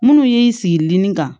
Minnu y'i sigi li kan